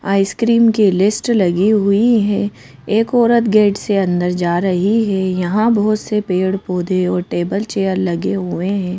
Ice cream की list लगी हुई है। एक औरत गेट से अंदर जा रही है। यहां बहोत से पेड़ पौधे और टेबल चेयर लगे हुए हैं।